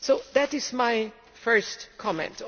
That is my first comment.